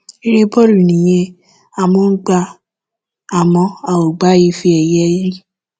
eré bọ́ọ̀lù nìyẹn á mọ ọn gbá a àmọ́ a ò gba ife ẹ̀yẹ rí